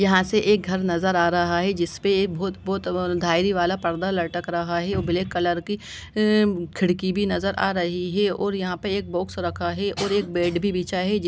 यहां से एक घर नजर आ रहा है जिस पे बहुत-बहुत धारी वाला पर्दा लटक रहा है और ब्लैक कलर की अ खिड़की भी नजर आ रही है और यहां पे एक बॉक्स रखा है और एक बेड भी बिछा है।